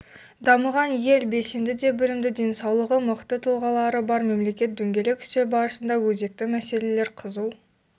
дамыған ел белсенді де білімді денсаулығы мықты тұлғалары бар мемлекет дөңгелек үстел барысында өзекті мәселелер қызу